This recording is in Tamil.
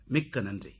மிக்க நன்றி